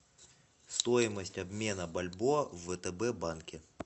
стоимость обмена бальбоа в втб банке